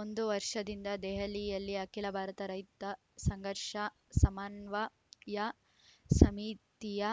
ಒಂದು ವರ್ಷದಿಂದ ದೆಹಲಿಯಲ್ಲಿ ಅಖಿಲ ಭಾರತ ರೈತ ಸಂಘರ್ಷ ಸಮನ್ವಯ ಸಮಿತಿಯ